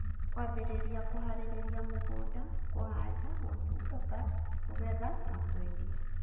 Kwambĩrĩria kuharĩrĩria mũgũnda, kũhanda, gũtungata, kũgetha na kwendia.